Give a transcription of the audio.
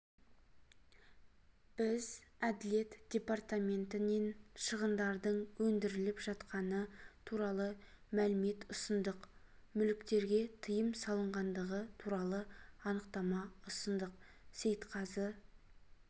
біз әділет департаментінен шығындардың өндіріліп жатқаны туралы мәлімет ұсындық мүліктерге тыйым салынғандығы туралы анықтама ұсындық сейтқазы